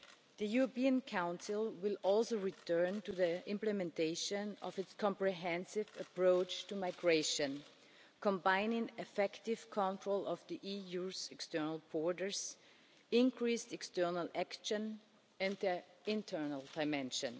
The European Council will also return to the implementation of its comprehensive approach to migration, combining effective control of the EU's external borders, increased external action and an internal dimension.